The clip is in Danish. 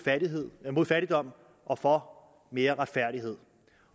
fattigdom og for mere retfærdighed